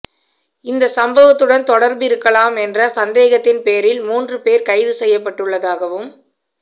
இந்த சம்வத்துடன் தொடர்பிருக்கலாம் என்ற சந்தேகத்தின் பேரில் மூன்று பேர் கைது செய்யப்பட்டுள்ளதாகவும்